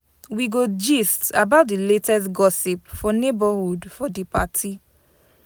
We go gist about di latest gossip for neighborhood for di party.